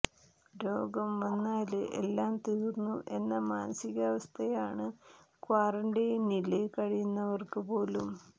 രോഗം വന്നാല് എല്ലാം തീര്ന്നു എന്ന മാനികാവസ്ഥയാണ് ക്വാറന്റൈനില് കഴിയുന്നവര്ക്ക് പോലും